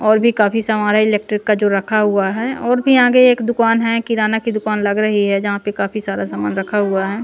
और भी काफी सामान है इलेक्ट्रिक का जो रखा हुआ है और भी आगे एक दुकान है किराना की दुकान लग रही है जहाँ पे काफी सारा सामान रखा हुआ है।